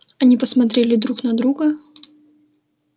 они посмотрели друг на друга